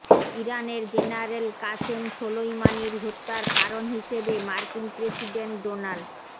ইরানের general Qasem সোলইমানির হত্যার কারণ হিসেবে মার্কিন প্রেসিডেন্ট ডোনাল্ড